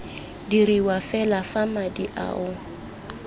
diriwa fela fa madi ao